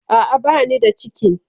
A'a, bani da cikin.